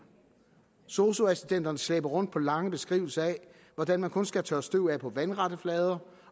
sosu assistenterne slæber rundt på lange beskrivelser af hvordan man kun skal tørre støv af på vandrette flader